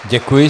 Děkuji.